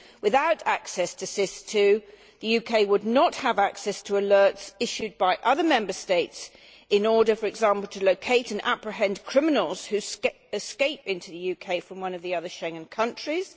Without access to SIS II, the UK would not have access to alerts issued by other Member States in order, for example, to locate and apprehend criminals who escape into the UK from one of the other Schengen countries.